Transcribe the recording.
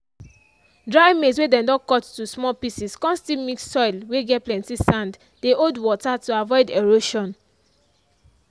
dry maize whey dem don cut to small pieces come still mix with soil whey get plenty sand dey hold water to avoid erosion.